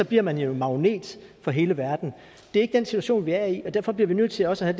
bliver man jo en magnet for hele verden det er ikke den situation vi er i og derfor bliver vi nødt til også at